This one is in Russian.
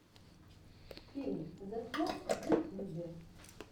фильм зэслот в ютьюбе